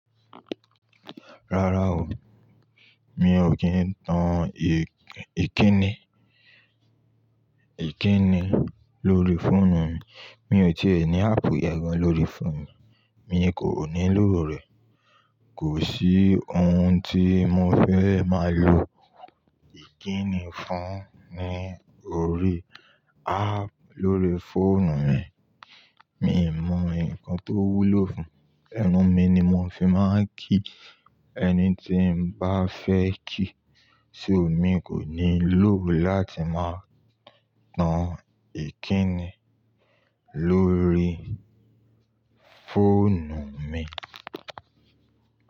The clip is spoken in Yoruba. Rárá o, mi ò kín tan èkíni, èkíni lórí fóònù mi. Mi ò tí è ní áàpù yẹ́n gan lórí fóònù mi, mi kò ní lò rẹ̀. Kò sí ohun tí mo fẹ́ máa lo èkíni fún ní orí áàpù lórí fóònù mi. Mi mọ ǹkan tó wúlò fún, ẹnu mi ni mò fi máa ń kí ẹni tí mo bá fẹ́ kí, ṣò mi kò ní lò láti máa tan èkíni lórí fóònù mi?